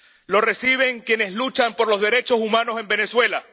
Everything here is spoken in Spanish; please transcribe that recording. Lo reciben quienes luchan por los derechos humanos en Venezuela.